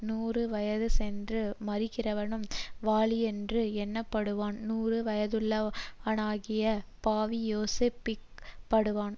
நூறு வயதுசென்று மரிக்கிறவனும் வாலிபனென்று எண்ணப்படுவான் நூறு வயதுள்ளவனாகிய பாவியோசபிக்கப்படுவான்